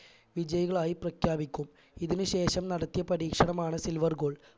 വിജയികളായി പ്രഖ്യാപിക്കും ഇതിന് ശേഷം നടത്തിയ പരീക്ഷണമാണ് silver goal